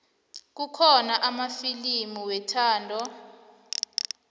kukhona amafilimu wethando